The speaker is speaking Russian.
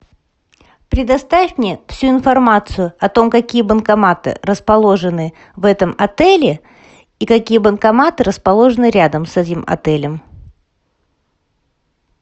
предоставь мне всю информацию о том какие банкоматы расположены в этом отеле и какие банкоматы расположены рядом с этим отелем